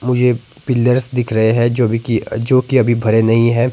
मुझे पिलर्स दिख रहे है जो कि अभी भरे नहीं है।